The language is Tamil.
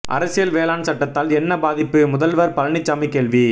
அரசியல் வேளாண் சட்டத்தால் என்ன பாதிப்பு முதல்வர் பழனிசாமி கேள்வி